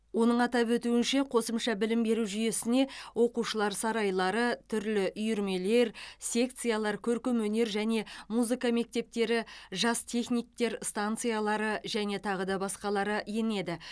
оның атап өтуінше қосымша білім беру жүйесіне оқушылар сарайлары түрлі үйірмелер секциялар көркемөнер және музыка мектептері жас техниктер станциялары және тағы да басқалары енеді